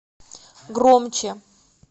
громче